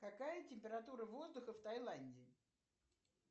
какая температура воздуха в тайланде